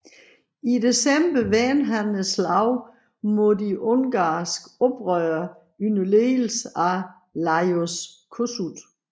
I december vendte han slaget mod de ungarske oprørere under ledelse af Lajos Kossuth